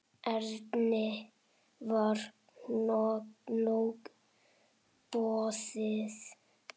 Erni var nóg boðið.